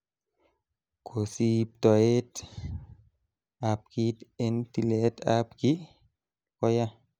Kosiibtoet ab kit en tilet ab kiy ko yaa.